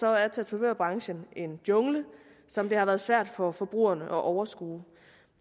er tatovørbranchen en jungle som det har været svært for forbrugerne at overskue